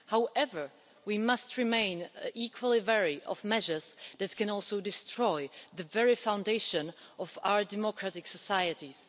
However, we must remain equally wary of measures that can also destroy the very foundation of our democratic societies.